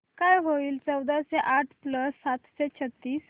काय होईल चौदाशे आठ प्लस सातशे छ्त्तीस